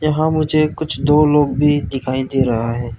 वहां मुझे कुछ दो लोग भी दिखाई दे रहा है।